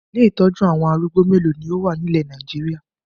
Ilé ìtọ́jú àwọn arúgbó mélòó ni ó wà ní ilẹ̀ Nàìjíríà?